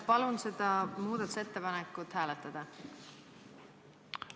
Palun seda muudatusettepanekut hääletada!